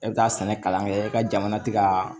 E bɛ taa sɛnɛ kalan kɛ e ka jamana tɛ ka